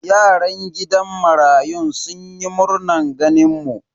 Yaran gidan marayun sun yi murnan ganin mu.